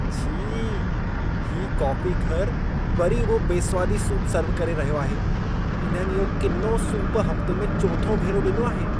छी! हीउ काफ़ीघर वरी उहो बेस्वादी सूप सर्व करे रहियो आहे। इन्हनि इहो किनो सूप हफ्ते में चोथों भेरो ॾिनो आहे।